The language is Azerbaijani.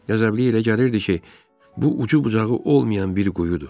Qəzəbliyə elə gəlirdi ki, bu ucu-bucağı olmayan bir quyudur.